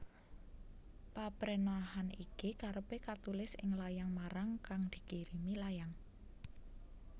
Paprenahan iki karepe katulis ing layang marang kang dikirimi layang